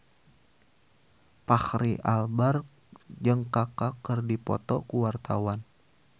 Fachri Albar jeung Kaka keur dipoto ku wartawan